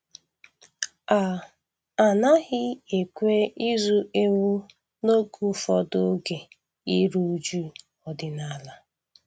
A A naghị ekwe ịzụ ewu n'oge ụfọdụ oge iru uju ọdịnala.